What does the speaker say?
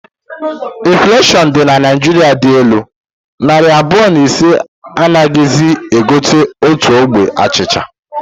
Infuleshion dị na Naịjiria dị elu, narị abụọ na ise anaghizi e gotenkwu otu ogbe achịcha